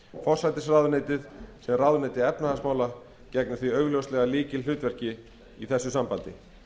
forsætisráðuneytið sem ráðuneyti efnahagsmála gegnir því augljóslega lykilhlutverki í þessu sambandi